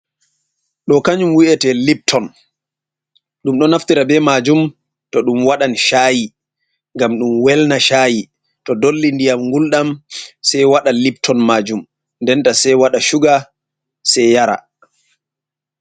Ɗo kanjum wi'ete lipton, ɗum ɗo naftira be maajum to ɗum waɗan shaayi ngam ɗum welna shayi, to dolli ndiyam ngulɗam sei waɗa lipton majum ndenta sei waɗa suga sei yara.